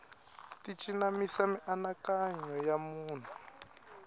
ti cinamisa mianakanyo ya munhu